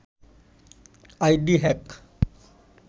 ID hack